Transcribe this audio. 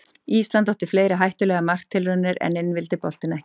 Ísland átti fleiri hættulegar marktilraunir en inn vildi boltinn ekki.